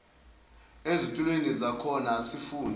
ezitulweni zakhona afunde